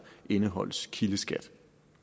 indeholdes kildeskat